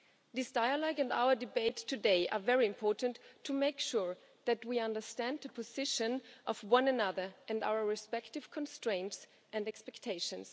This dialogue and our debate today are very important to make sure that we understand the position of one another and our respective constraints and expectations.